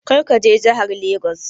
Kar ka je jahar Legas!